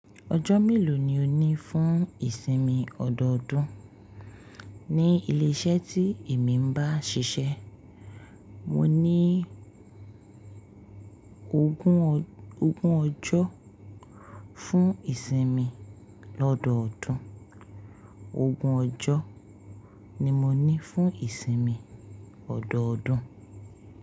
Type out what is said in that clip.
Ọjọ́ mélòó ni o ní fún ìsinmi ọdọọdún ní ilé iṣẹ́ tí èmi ń bá ṣiṣẹ́? Mo ní ogún ọjọ́ fún ìsinmi ọdọọdún. Ogún ọjọ́ ni mo ní fún ìsinmi ọdọọdún.